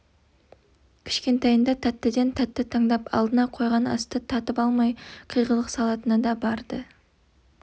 кішкентайында тәттіден тәтті таңдап алдына қойған асты татып алмай қиғылық салатыны бар-ды